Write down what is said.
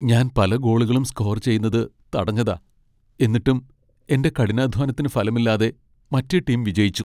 ഞാൻ പല ഗോളുകളും സ്കോർ ചെയ്യുന്നത് തടഞ്ഞതാ ,എന്നിട്ടും, എന്റെ കഠിനാധ്വാനത്തിന് ഫലമില്ലാതെ മറ്റേ ടീം വിജയിച്ചു.